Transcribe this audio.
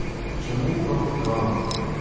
Čemu prav podgana?